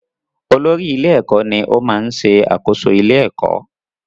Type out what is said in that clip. Olórí-ilé-ẹ̀kọ́ ní ó máa ń ṣẹ àkóso ilé-ẹ̀kọ́.